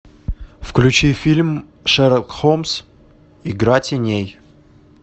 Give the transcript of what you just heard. включи фильм шерлок холмс игра теней